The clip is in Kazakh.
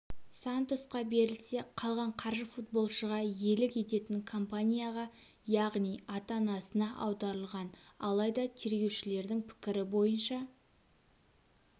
сантосқа берілсе қалған қаржы футболшыға иелік ететін компанияға яғни ата-анасына аударылған алайда тергеушілердің пікірі бойынша